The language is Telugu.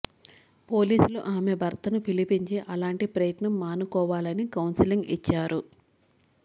పోలీసులు ఆమె భర్తను పిలిపించి అలాంటి ప్రయత్నం మానుకోవాలని కౌన్సెలింగ్ ఇచ్చారు